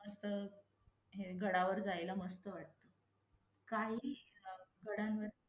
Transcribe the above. अस हे गडावर जायला मस्त वाटत. काही गडांवर